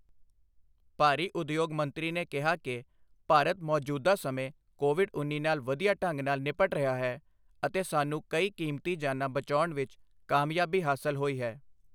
ਭਾਰੀ ਉਦਯੋਗ ਮੰਤਰੀ ਨੇ ਕਿਹਾ ਕਿ, ਭਾਰਤ ਮੌਜ਼ੂਦਾ ਸਮੇਂ ਕੋਵਿਡ ਉੱਨੀ ਨਾਲ ਵਧੀਆ ਢੰਗ ਨਾਲ ਨਿਪਟ ਰਿਹਾ ਹੈ ਅਤੇ ਸਾਨੂੰ ਕਈ ਕੀਮਤੀ ਜਾਨਾਂ ਬਚਾਉਣ ਵਿੱਚ ਕਾਮਯਾਬੀ ਹਾਸਲ ਹੋਈ ਹੈ।